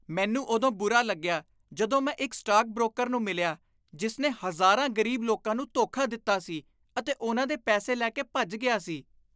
ਮੈਨੂੰ ਉਦੋਂ ਬੁਰਾ ਲੱਗਿਆ ਜਦੋਂ ਮੈਂ ਇੱਕ ਸਟਾਕ ਬਰੋਕਰ ਨੂੰ ਮਿਲਿਆ ਜਿਸ ਨੇ ਹਜ਼ਾਰਾਂ ਗ਼ਰੀਬ ਲੋਕਾਂ ਨੂੰ ਧੋਖਾ ਦਿੱਤਾ ਸੀ ਅਤੇ ਉਨ੍ਹਾਂ ਦੇ ਪੈਸੇ ਲੈ ਕੇ ਭੱਜ ਗਿਆ ਸੀ।